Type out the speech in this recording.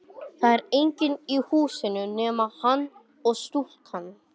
Það er enginn í húsinu nema hann og stúlkan.